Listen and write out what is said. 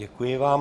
Děkuji vám.